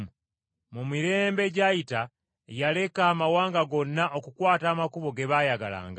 Mu mirembe egyayita yaleka amawanga gonna okukwata amakubo ge baayagalanga.